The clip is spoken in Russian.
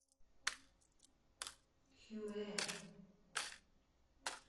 хюэ